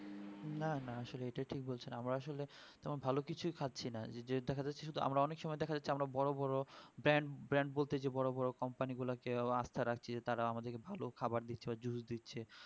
না না আসলে এটা ঠিক বলছেন আব আসলে ভালো কিছু খাচ্ছি না যে দেখাযাচ্ছে যে আমরা অনেক সময় দেখাযাচ্ছে আমরা বড়ো বড়ো brand brand বলতে যে বড়ো বড়ো company গুলো কে আস্ত রাখছি তারা আমাদের কে ভালো খাবার দিচ্ছে দিচ্ছে